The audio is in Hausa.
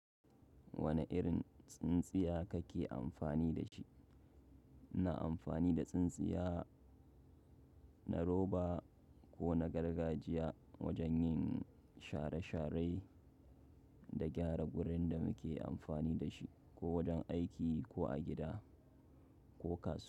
Wane irin tsintsiya kake amfani da shi? Ina amfani da tsintsiya, na roba ko na gargajiya wajen yin share-share da gyara wurin da muke amfani da shi, ko wajen aiki ko a gida ko kasuwa.